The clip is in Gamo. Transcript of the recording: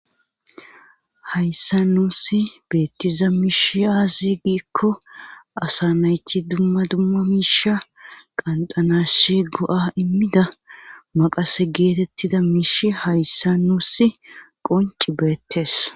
Hayssa nuussi beettiza miishi aasi giikko asa nayti dumma dumma miisha qanxanashi go7a immida maqase geetettida miish hayssa nuussi qonci beettees